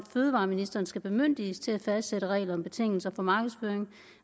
fødevareministeren skal bemyndiges til at fastsætte regler om betingelser for markedsføring